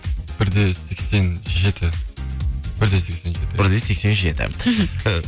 бір де сексен жеті бір де сексен жеті бір де сексен жеті мхм